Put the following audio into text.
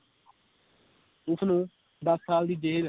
ਉਸਨੂੰ ਦਸ ਸਾਲ ਦੀ ਜੇਲ੍ਹ